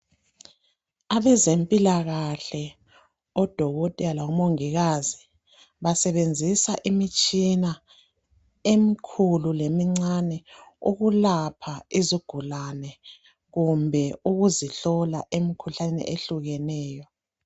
Abeze mpilakahle odokotela labomongikazi basebenzisa imitshina emikhulu lemincane ukulapha izigulane kumbe ukuzihlola emikhuhlaneni ehlukeneyo